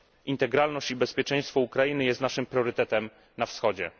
Integralność i bezpieczeństwo Ukrainy jest naszym priorytetem na Wschodzie.